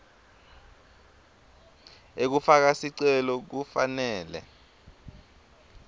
ekufaka sicelo kufanele